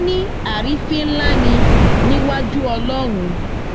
ní àrífín ńlá ni níwájú ọlọhun